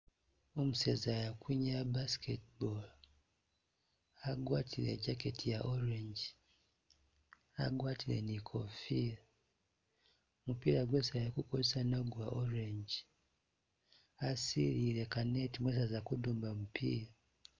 U museza yu akwinyaya basketball, agwatile i jacket iya orange, agwatile ni ikofila, mupila gwesi akukozesa nagwo gwa orange, asililiye mu ka net mwesi aza kuduma mupila